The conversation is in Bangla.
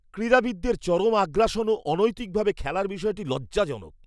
ক্রীড়াবিদদের চরম আগ্রাসন ও অনৈতিকভাবে খেলার বিষয়টি লজ্জাজনক।